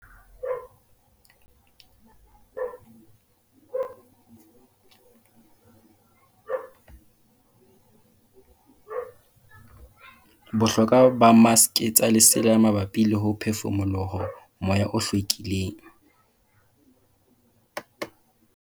Bohlokwa ba maske tsa lesela mabapi le ho phefumoloho moya o hlwekileng.